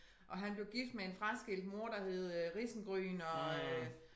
Og han blev gift med en fraskilt mor der hed øh Risengryn og øh